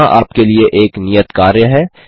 यहाँ आपके लिए एक नियत कार्य है